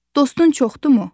Dostun çoxdumu?